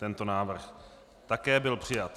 Tento návrh byl také přijat.